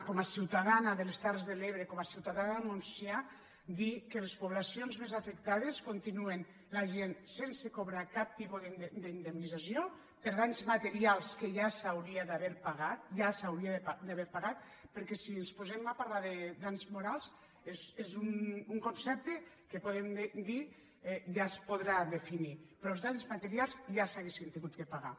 com a ciutadana de les terres de l’ebre com a ciu·tadana del montsià dir que a les poblacions més afec·tades continuen la gent sense cobrar cap tipus d’indem·nització per danys materials que ja s’haurien d’haver pagat ja s’haurien d’haver pagat perquè si ens po·sem a parlar de danys morals és un concepte que po·dem dir ja es podrà definir però els danys materials ja s’haurien hagut de pagar